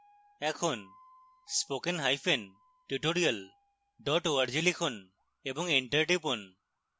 এখন spokentutorial org লিখুন এবং enter টিপুন